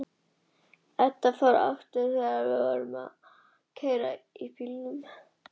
Edda fer aftur fram þegar hún er búin að ganga tryggilega frá Tómasi.